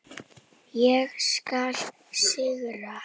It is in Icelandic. Það skjálfa á henni hnén.